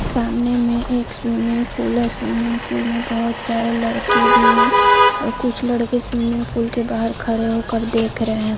सामने में एक स्विमिंग पूल है स्विमिंग पूल में बहुत सारे लड़के भी है और कुछ लड़के स्विमिंग पूल के बाहर खड़े होकर देख रहे हैं।